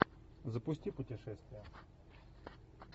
запусти путешествия